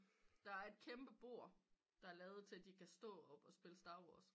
Der et et kæmpe bord der er lavet til at de kan stå op og spille Star Wars